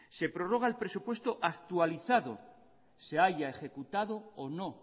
se prorroga el presupuesto actualizado se haya ejecutado o no